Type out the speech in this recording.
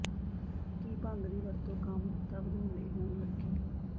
ਕੀ ਭੰਗ ਦੀ ਵਰਤੋਂ ਕਾਮੁਕਤਾ ਵਧਾਉਣ ਲਈ ਹੋਣ ਲੱਗੀ